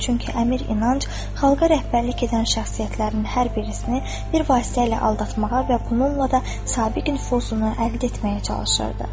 Çünki əmir İnanc xalqa rəhbərlik edən şəxsiyyətlərin hər birisini bir vasitə ilə aldatmağa və bununla da sabiq nüfuzunu əldə etməyə çalışırdı.